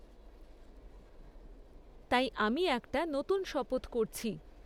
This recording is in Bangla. তাই আমি একটা নতুন শপথ করছি।